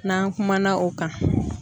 N'an kumana o kan